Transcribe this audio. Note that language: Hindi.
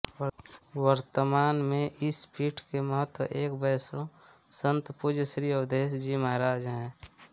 वर्तमान में इस पीठ के महँत एक वैष्णव संत पूज्य श्री अवधेष जी महाराज है